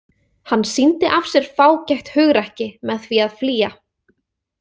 Hann sýndi af sér fágætt hugrekki með því að flýja.